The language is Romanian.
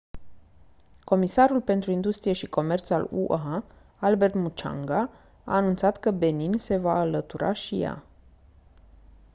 comisarul pentru industrie și comerț al ua albert muchanga a anunțat că benin se va alătura și ea